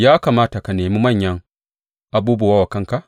Ya kamata ka nemi manyan abubuwa wa kanka?